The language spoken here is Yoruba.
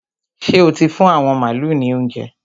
Ṣé o ti fún àwọn màálu ní óuńjẹ?